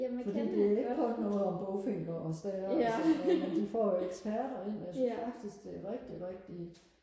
fordi det er ikke kun noget om bogfinker og stære og sådan noget men de får jo eksperter ind og jeg synes faktisk det er rigtig rigtig